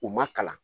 U ma kalan